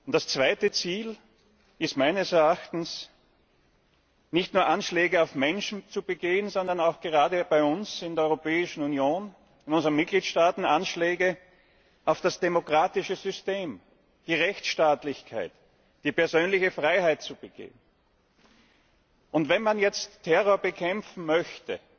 Das zweite Ziel ist meines Erachtens, nicht nur Anschläge auf Menschen zu begehen, sondern auch, gerade bei uns in der Europäischen Union, in den Mitgliedstaaten, Anschläge auf das demokratische System, die Rechtsstaatlichkeit, die persönliche Freiheit zu begehen. Wenn man jetzt Terror bekämpfen möchte,